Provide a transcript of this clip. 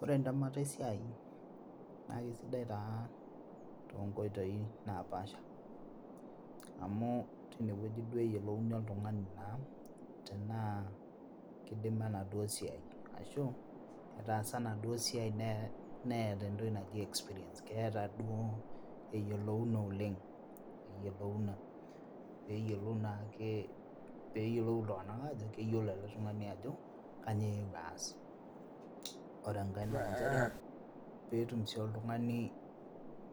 Ore entemata esiai naa kisidai taa tonkoitoi napasha amu tinewueji duo eyiolouni oltung'ani naa tenaa kidima enaduo siai ashu etaasa enaduo siai nee neeta entoki naji experience keeta duo eyiolouna oleng eyiolouna oeyiolou naake peyiolou iltung'anak aajo keyiolo ele tung'ani ajo kanyoo eewuo aas ore enkae nanchere petum sii oltung'ani